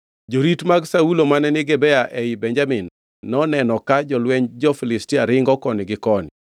Jorito mag Saulo mane ni Gibea ei Benjamin noneno ka jolweny jo-Filistia ringo koni gi koni.